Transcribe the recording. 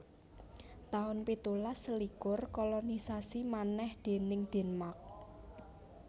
taun pitulas selikur Kolonisasi manèh déning Denmark